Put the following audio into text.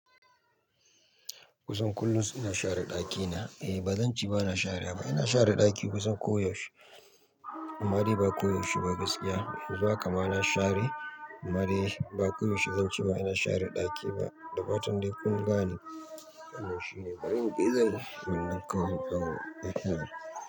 Kusan kullum ina share ɗakina. Eh ba zan ce ba na share ba, ina share ɗaki kusan koyaushe. Aman dai ba koyaushe ba gaskiya, yanzu haka ma na share. Ama dai ba koyaushe zan ce ba ina share ɗaki ba. Da fatan dai kun gane, wannan shine bai wani gizo ne wannan kawai ba?